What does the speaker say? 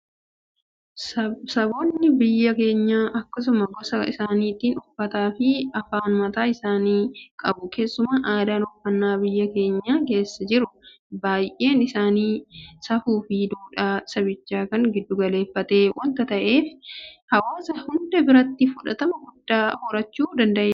Saboonni biyya keenyaa akkuma gosa isaaniitti uffataafi afaan mataa isaanii qabu. Keessuma aadaan uffannaa biyya keenya keessa jiru baay'een isaa safuufi duudhaa sabichaa kan giddu galeeffate waanta ta'eef hawaasa hunda biratti fudhatama guddaa horachuu danda'eera.